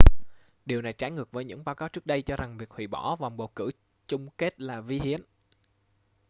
điều này trái ngược với những báo cáo trước đây cho rằng việc hủy bỏ vòng bầu cử chung kết là vi hiến